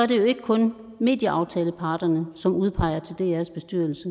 det ikke kun medieaftaleparterne som udpeger til drs bestyrelse